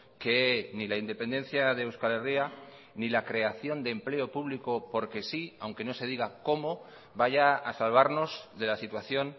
que ni la independencia de euskal herria ni la creación de empleo público porque sí aunque no se diga cómo vaya a salvarnos de la situación